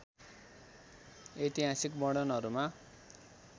ऐतिहासिक वर्णनहरूमा